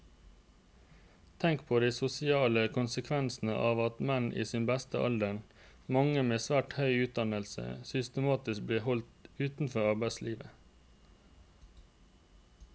Tenk på de sosiale konsekvensene av at menn i sin beste alder, mange med svært høy utdannelse, systematisk blir holdt utenfor arbeidslivet.